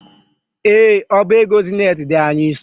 Ee, ọba ego zenet dị anyị nso.